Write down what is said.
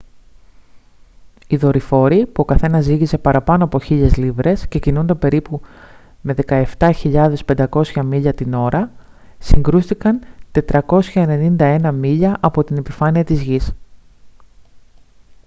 οι δορυφόροι που ο καθένας ζύγιζε παραπάνω από 1.000 λίβρες και κινούνταν περίπου με 17.500 μίλια την ώρα συγκρούστηκαν 491 μίλια από την επιφάνεια της γης